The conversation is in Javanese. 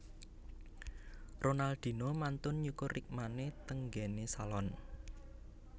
Ronaldinho mantun nyukur rikmane teng nggen e salon